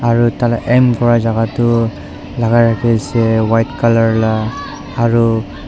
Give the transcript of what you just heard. aru tai la aim kurajaka tu lakai rakhiase white colour la aru--